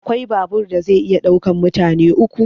Akwai babur da zai iya ɗaukan mutane uku